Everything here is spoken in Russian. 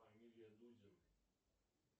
фамилия дудин